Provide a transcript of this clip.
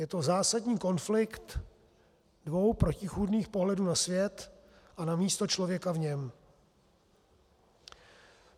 Je to zásadní konflikt dvou protichůdných pohledů na svět a na místo člověka v něm.